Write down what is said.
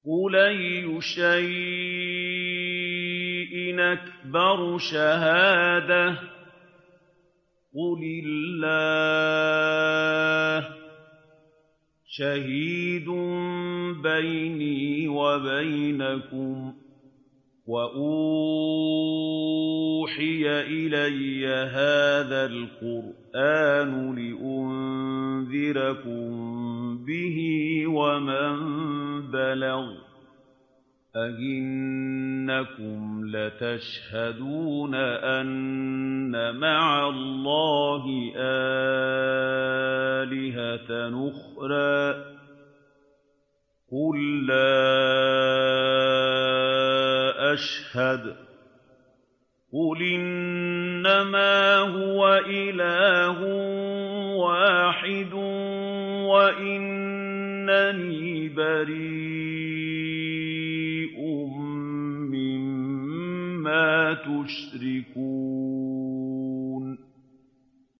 قُلْ أَيُّ شَيْءٍ أَكْبَرُ شَهَادَةً ۖ قُلِ اللَّهُ ۖ شَهِيدٌ بَيْنِي وَبَيْنَكُمْ ۚ وَأُوحِيَ إِلَيَّ هَٰذَا الْقُرْآنُ لِأُنذِرَكُم بِهِ وَمَن بَلَغَ ۚ أَئِنَّكُمْ لَتَشْهَدُونَ أَنَّ مَعَ اللَّهِ آلِهَةً أُخْرَىٰ ۚ قُل لَّا أَشْهَدُ ۚ قُلْ إِنَّمَا هُوَ إِلَٰهٌ وَاحِدٌ وَإِنَّنِي بَرِيءٌ مِّمَّا تُشْرِكُونَ